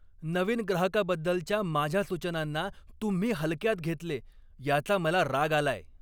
नवीन ग्राहकाबद्दलच्या माझ्या सूचनांना तुम्ही हलक्यात घेतले याचा मला राग आलाय.